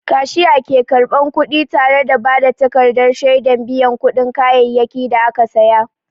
Kashiya ke karɓar kuɗi tare da ba da takardar shaidar biyan kuɗin kayayyakin da aka saya.